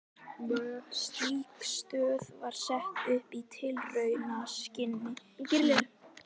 Slík stöð var sett upp í tilraunaskyni í